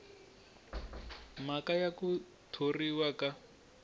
mhaka ya ku thoriwa ka